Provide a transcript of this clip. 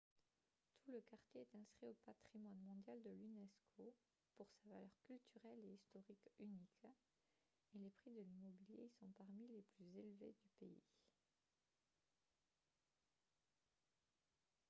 tout le quartier est inscrit au patrimoine mondial de l'unesco pour sa valeur culturelle et historique unique et les prix de l'immobilier y sont parmi les plus élevés du pays